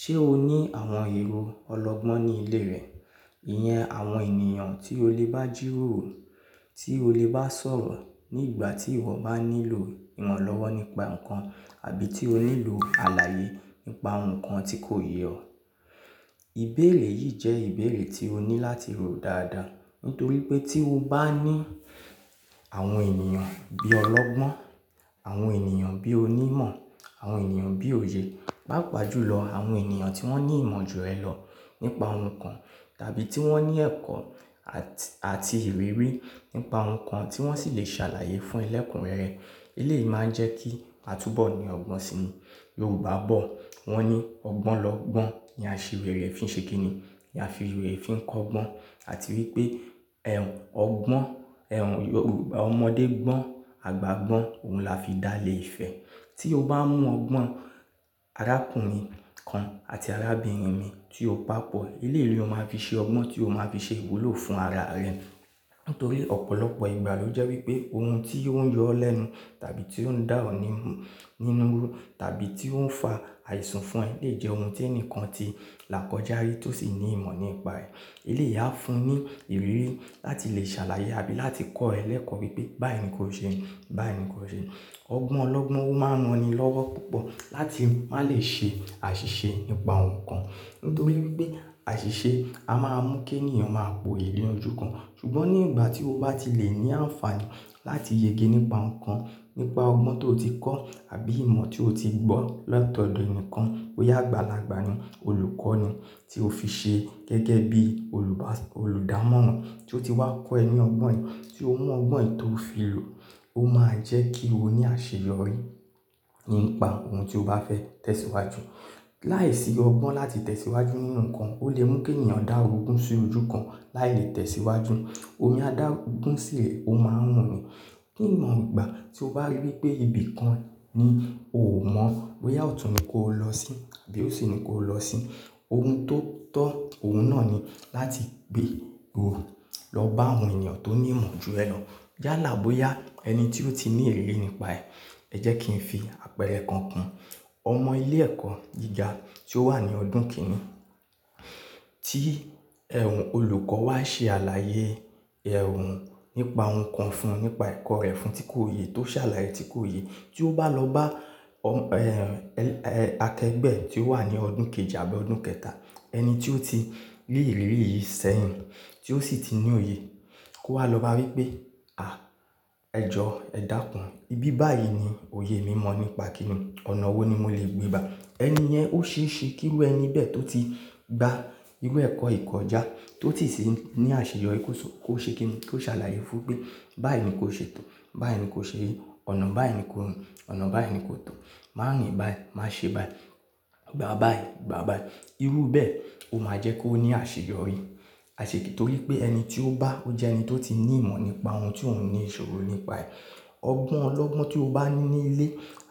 Ṣé o ní àwọn èrò ọlọ́gbọ́n ní ilé rẹ? Ìyẹn àwọn ènìyàn tí o lè bá jìròrò, tí o lè bá sọ̀rọ̀ ní ìgbà tí ìwọ bá nílò iran lọ́wọ́ nípa nǹkan àbí tí o nílò àlàyé nípa ohun kan tí kò yẹ ọ. Ìbérè yìí jẹ́ ìbérè tí o ní láti rò dáadáa. Nítorí pé tí o bá ní àwọn ènìyàn bí ọlọ́gbọ́n, àwọn ènìyàn bí onímọ̀, àwọn ènìyàn bí òye, pàápàá jùlọ àwọn ènìyàn tí wọ́n ní ìmọ̀ ju ẹ lọ nípa ohun kan tàbí tí wọ́n ní ẹ̀kọ́ àti ìrírí nípa ohun kan tí wọ́n sì lè ṣàlàyé fún ẹlẹ́kùn rẹ rẹ. Ilé máa ń jẹ́ kí a túbọ̀ ní ọgbọ́n sini. Yorùbá bọ̀ wọ́n ní ọgbọ́n lọ́gbọ́n ni a ṣe rere fi ń ṣe kíni, ni a fi rere fi ń kọ́gbọ́n. Àti wípé ẹ̀hun ọgbọ́n, ẹ̀hun Yorùbá ọmọdé gbọ́n, àgbà gbọ́n òun la fi dá ilé Ifẹ̀. Tí o bá mú ọgbọ́n arákùnrin kan àti arábìnrin mì tí o pàpọ̀, ilé yìí ni o máa fi ṣe ọgbọ́n tí o máa fi ṣe ìwúlò fún ara rẹ. Nítorí ọ̀pọ̀lọpọ̀ ìgbà ló jẹ́ wípé ohun tí ó ń yọ ọ́ lẹ́nu tàbí tí ó ń dà ọ́ nínú tàbí tí ó ń fa àìsùn fún ẹ le jẹ́ ohun tí ẹnìkan ti là kọjá rí tó sì ní ìmọ̀ nípa ẹ̀. Eléyìí á fún ní ìrírí láti lè ṣàlàyé àbí láti kọ́ ẹ lẹ́kọ̀ọ́ wípé báyi nìko ṣe, báyi nìko ṣe. Ọgbọ́n ọlọ́gbọ́n ó máa ń ran ni lọ́wọ́ púpọ̀ láti má lè ṣe àṣìṣe nípa ohun kan. Nítorí wípé àṣìṣe a máa ń mú kí ènìyàn máa poyì no ojú kan. Ṣùgbọ́n ní ìgbà tí o bá ti lè ní àǹfààní láti yege nípa nǹkan, nípa ọgbọ́n tó ti kọ́ àbí ìmọ̀ tí o ti gbọ́ lọ́tọ̀ọ̀dùn nìkan pé ya gbàlagbà ni, olùkọ́ ni tí o fi ṣe gẹ́gẹ́ bí olùdámọ̀ràn tí ó ti wá kọ́ ẹ ní ọgbọ́n yi, tí ó mú ọgbọ́n yi tó fi lò, ó máa jẹ́ kí o ní àṣeyọrí nípa ohun tí o bá fẹ́ tẹ̀síwájú. Láìsí ọgbọ́n láti tẹ̀síwájú nínú nǹkan, ó lè mú kí ènìyàn dá orogún sí ojú kan láì tẹ̀síwájú. Omi adágún sírẹ̀, ó máa ń rùn ni. Kíni ìgbà tí o bá rí wípé ibi kan ni o ò mọ̀, boyà otún ní kó lọ sí àbí ósì ní kó lọ sí, ohun tó tọ́ òun náà ni láti gbé ro lọ bá àwọn ènìyàn tó ní ìmọ̀ ju ẹ lọ. Já làá bóyá ẹni tí ó ti ní ìrírí nípa ẹ̀, ẹ jẹ́ kí n fi àpẹẹrẹ kan kùn. Ọmọ ilé ẹ̀kọ́ gíga tí ó wà ní ọdún kẹrin tí ẹ̀hun olùkọ́ wá ṣe àlàyé ẹ̀hun nípa nǹkan fún un, nípa ẹ̀kọ́ rẹ̀ fún tí kò yẹ, tó ṣàlàyé tí kò yẹ, tí ó bá lọ bá akẹgbẹ́ tí ó wà ní ọdún kejì àbí ọdún kẹta, ẹni tí ó ti rí ìrírí yìí sẹ́yìn tí ó sì ti ní òye kó wá lọ bá wípé "à ẹ jọ ẹ dákún, ibi báyìí ni òye mi mọ̀ nípa kíni, ọ̀nà wo ni mo lè gbé bá." Ẹni yẹn ó ṣe é ṣe kí irú ẹni bẹ́ẹ̀ tó ti gba irú ẹ̀kọ́ yìí kọjá tó sì ti ní àṣeyọrí kó ṣe kíni, kó ṣàlàyé fún un pé báyi nì ko ṣe tò, báyi nì ko ṣe yìí, ọ̀nà báyi nì ko rin, ọ̀nà báyi nì ko tò, má rìn báyì, má ṣe báyì, gbà báyì, gbà báyì. Irú bẹ́ẹ̀ ó máa jẹ́ kó ní àṣeyọrí. Àṣe kí nítorí pé ẹni tí ó bá, ó jẹ́ ẹni tó ti ní ìmọ̀ nípa ohun tí òun ní ìṣòro nípa ẹ̀. Ọgbọ́n ọlọ́gbọ́n tí o bá ní ní ilé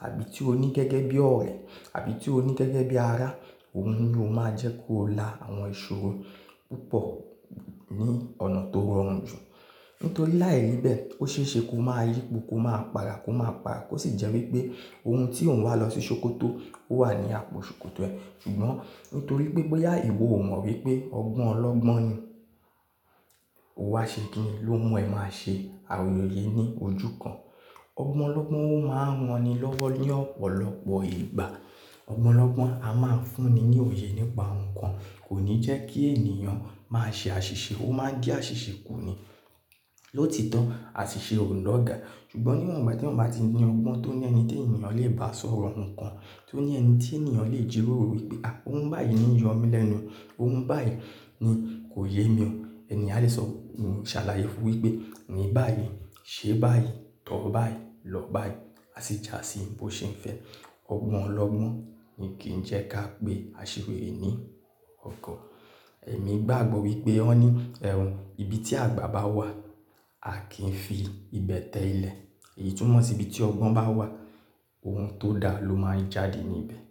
àbí tí o ní gẹ́gẹ́ bí ọ̀rẹ́ àbí tí o ní gẹ́gẹ́ bí ará, òun ni ó máa jẹ́ kó la àwọn ìṣòro púpọ̀ ní ọ̀nà tó rọrùn jù. Nítorí láìrí bẹ́ẹ̀, ó ṣe é ṣe kó máa rípo, kó máa pa'ra, kó máa pa, kó sì jẹ́ wípé ohun tí òun wá lọ sí ṣòkòtò ó wà ní àpò ṣòkòtò ẹ. Ṣùgbọ́n nítorí pé bóyá ìwọ ò mọ̀ wípé ọgbọ́n ọlọ́gbọ́n ni, ó wá ṣe kíni ló mú ẹ máa ṣe àwọn èyí ní ojú kan. Ọgbọ́n ọlọ́gbọ́n ó máa ń ràn ni lọ́wọ́ ní ọ̀pọ̀lọpọ̀ ìgbà. Ọgbọ́n ọlọ́gbọ́n a máa ń fún ni ní òye nípa nǹkan kò ní jẹ́ kí ènìyàn máa ṣe àṣìṣe, ó máa ń di àṣìṣe kù ni. Lóòtọ́ àṣìṣe ò lè ọ̀gà. Ṣùgbọ́n níwọ̀n ìgbà tí òun bá ti ní ọgbọ́n tó ní ẹni tí ènìyàn lè bá sọ̀rọ̀ nǹkan, tó ní ẹni tí ènìyàn lè jìròrò wípé "à ohun báyìí ni ń yọ mí lẹ́nu, ohun báyìí ni kò yé mi o", ẹni yẹn á lè sọ, ń ṣàlàyé fún un wípé ní báyìí, ṣe báyìí, tọ̀ ọ́ báyìí, lọ báyìí, a sì jà sí ibo ṣe ń fẹ́. Ọgbọ́n ọlọ́gbọ́n ni kì í jẹ́ ká pé a ṣe rere ní ọ̀go. Ẹ̀mí gbàgbọ́ wípé wọ́n ní ẹ̀hun, ibi tí àgbà bá wà, a kì í fi ibẹ̀ tẹ ilẹ̀. Èyí túnmọ̀ sí ibi tí ọgbọ́n bá wà, ohun tó da ló máa ń jáde níbẹ̀.